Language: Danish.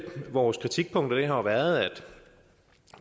vores kritikpunkter har jo været at